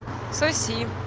соси